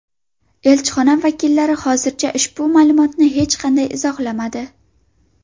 Elchixona vakillari hozircha ushbu ma’lumotni hech qanday izohlamadi.